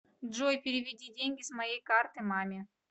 джой переведи деньги с моей карты маме